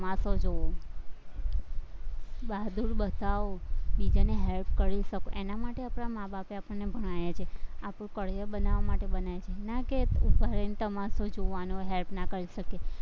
જવું બહાદુરી બતાવો, બીજાને help કરી શકો એના માટે આપણા માં-બાપે આપણને ભણાવ્યા છે, આપણું career બનાવવા માટે ભણાયા છે ના કે માણસને જોવાનો help ના કરી શકીએ,